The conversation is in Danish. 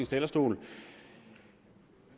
talerstol